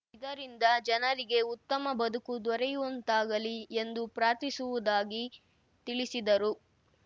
ಇದರಿಂದ ಜನರಿಗೆ ಉತ್ತಮ ಬದುಕು ದೊರೆಯುವಂತಾಗಲಿ ಎಂದು ಪ್ರಾರ್ಥಿಸುವುದಾಗಿ ತಿಳಿಸಿದರು